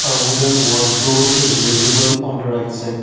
a wooden wardrode is visible on the right side.